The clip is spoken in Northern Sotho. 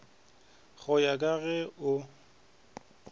go ya ka ge o